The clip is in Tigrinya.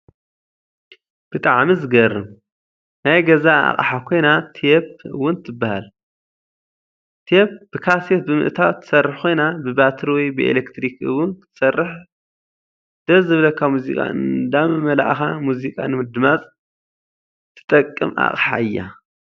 ብጣዕሚ ዝገረም! ናይ ገዛ ኣቅሓ ኮይና ቴፕ እውን ተባሃል። ቴብ ብካሴት ብምእታው ትሰርሕ ኮይና ብባትሪ ወይ ብኤሌክትሪክ እውን ክትሰርሕ ደስ ዝበለካ ሙዚቃ እነዳመላእካ ሙዚቃ ንምድማፅ ተጠቅም ኣቅሓ እያ።